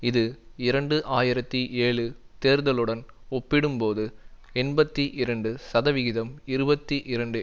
இது இரண்டு ஆயிரத்தி ஏழு தேர்தலுடன் ஒப்பிடும்போது எண்பத்தி இரண்டு சதவிகிதம் இருபத்தி இரண்டு